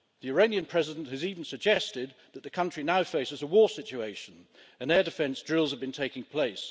The Iranian President has even suggested that the country now faces a war situation, and air defence drills have been taking place.